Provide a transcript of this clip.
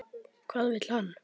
Hvað vill hann?